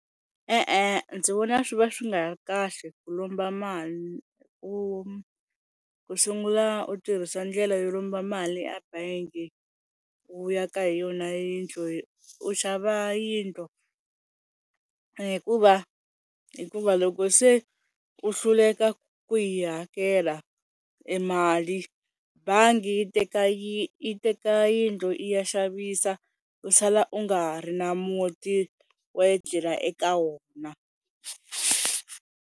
E-e ndzi vona swi va swi nga ri kahle ku lomba mali u ku sungula u tirhisa ndlela yo lomba mali ebangi u yaka hi yona yindlo u xava yindlo hikuva hikuva loko se u hluleka ku yi hakela e mali bangi yi teka yi teka yindlu yi ya xavisa u sala u nga ha ri na muti wo etlela eka wona.